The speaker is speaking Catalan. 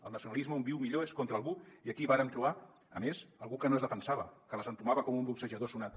el nacionalisme on viu millor és contra algú i aquí varen trobar a més algú que no es defensava que les entomava com un boxejador sonat